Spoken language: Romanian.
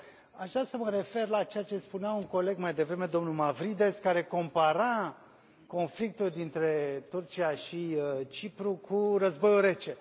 Însă aș vrea să mă refer la ceea ce spunea un coleg mai devreme, domnul Mavrides, care compara conflictul dintre Turcia și Cipru cu Războiul Rece.